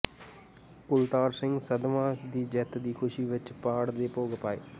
ਕੁਲਤਾਰ ਸਿੰਘ ਸੰਧਵਾਂ ਦੀ ਜਿੱਤ ਦੀ ਖ਼ੁਸ਼ੀ ਵਿਚ ਪਾਠ ਦੇ ਭੋਗ ਪਾਏ